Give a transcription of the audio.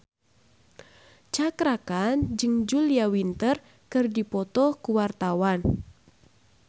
Cakra Khan jeung Julia Winter keur dipoto ku wartawan